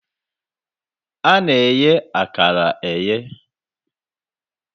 a na-eghe akara eghe.